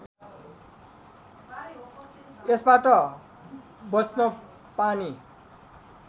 यसबाट बँच्न पानी